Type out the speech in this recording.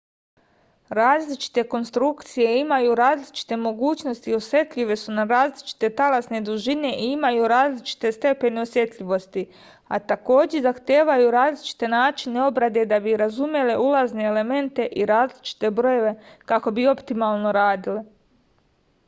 različite konstrukcije imaju različite mogućnosti osetljive su na različite talasne dužine i imaju različite stepene osetljivosti a takođe zahtevaju različite načine obrade da bi razumele ulazne elemente i različite brojeve kako bi optimalno radile